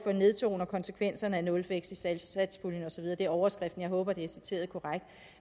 nedtoner konsekvenserne af nulvækst i satspuljen og så videre det er overskriften jeg håber det er citeret korrekt